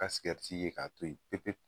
ka sikɛriti ye k'a to ye pepewu.